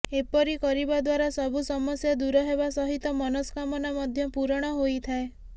ଏପରି କରିବା ଦ୍ବାରା ସବୁ ସମସ୍ୟା ଦୂର ହେବା ସହିତ ମନସ୍କାମନା ମଧ୍ୟ ପୂରଣ ହୋଇଥାଏ